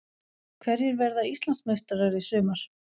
Hverjir verða Íslandsmeistarar í sumar?